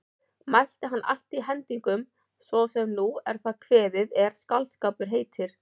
Mælti hann allt hendingum svo sem nú er það kveðið er skáldskapur heitir.